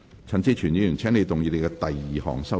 陳志全議員，請動議你的第二項修正案。